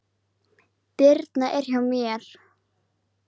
Birna er hjá mér.